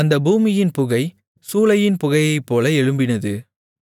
அந்தப் பூமியின் புகை சூளையின் புகையைப்போல எழும்பினது